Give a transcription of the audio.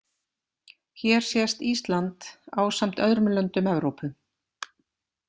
Hér sést Ísland ásamt öðrum löndum Evrópu.